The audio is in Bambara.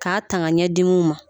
K'a tanga ɲɛ dimi ma